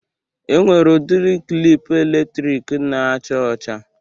E nwere udiri klịp eletrik na-acha ọcha.